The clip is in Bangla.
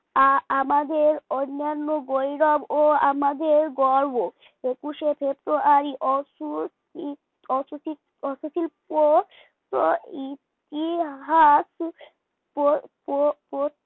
আ আমাদের অন্যান্য গৌরব ও আমাদের গর্ব একুশে ফেব্রুয়ারি পথশিল্প